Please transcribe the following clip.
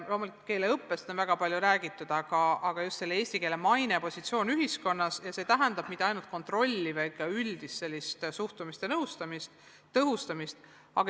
Loomulikult on keeleõppest väga palju räägitud, aga tähtis on just eesti keele maine ja positsioon ühiskonnas, mis ei tähenda mitte ainult kontrolli, vaid ka üldist head suhtumist ja nõustamist, keeleõppe tõhustamist.